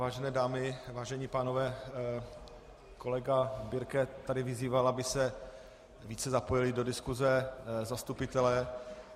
Vážené dámy, vážení pánové, kolega Birke tady vyzýval, aby se více zapojili do diskuse zastupitelé.